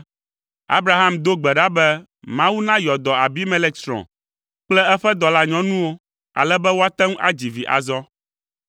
Abraham do gbe ɖa be Mawu nayɔ dɔ Abimelek srɔ̃ kple eƒe dɔlanyɔnuwo ale be woate ŋu adzi vi azɔ,